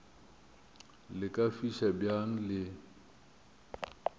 le ka fiša bjang le